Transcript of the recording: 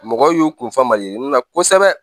Mɔgɔw y'u kunfa mali yirini na kosɛbɛ